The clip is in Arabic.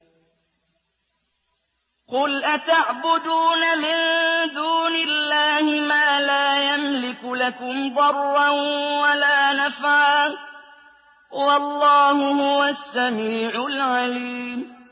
قُلْ أَتَعْبُدُونَ مِن دُونِ اللَّهِ مَا لَا يَمْلِكُ لَكُمْ ضَرًّا وَلَا نَفْعًا ۚ وَاللَّهُ هُوَ السَّمِيعُ الْعَلِيمُ